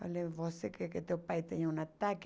Falei, você quer que teu pai tenha um ataque?